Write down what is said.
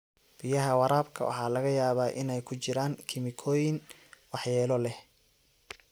Biyaha waraabka waxaa laga yaabaa inay ku jiraan kiimikooyin waxyeello leh.